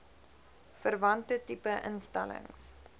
verwante tipe instellings